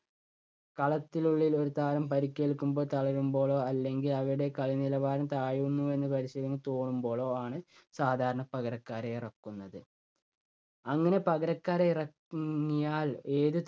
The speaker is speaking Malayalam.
കളത്തിനുള്ളിൽ ഒരു താരം പരുക്കേൽക്കുമ്പോ തളരുമ്പോഴോ അല്ലെങ്കിൽ അവരുടെ കളി നിലവാരം താഴുന്നു എന്ന് പരിശീലകന് തോന്നുമ്പോഴോ ആണ് സാധാരണ പകരക്കാരെ ഇറക്കുന്നത്. അങ്ങനെ പകരക്കാരെ ഇറ~ങ്ങിയാൽ ഏത്